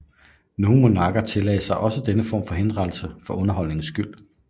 Nogle monarker tillagde sig også denne form for henrettelse for underholdningens skyld